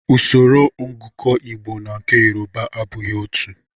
Usoro ngụkọ Igbo na nke Yoruba abụghị otú.